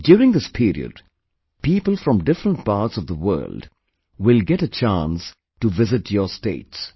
During this period, people from different parts of the world will get a chance to visit your states